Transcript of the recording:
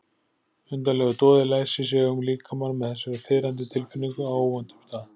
Undarlegur doði læsir sig um líkamann með þessari fiðrandi tilfinningu á óvæntum stað.